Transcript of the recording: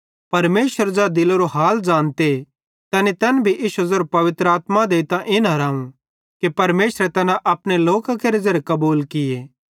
परमेशर ज़ै दिलेरो हाल ज़ानते तैनी तैन भी इश्शी ज़ेरी पवित्र आत्मा देइतां इन हिराव कि परमेशरे तैना अपने लोकां केरे ज़ेरे कबूल किये